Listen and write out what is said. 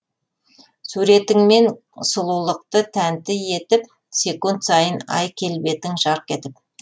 суретіңмен сұлулықты тәнті етіп секунд сайын ай келбетің жарқ етіп